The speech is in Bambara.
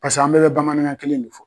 Paseke an bɛɛ bɛ bamanankan kelen de fɔ.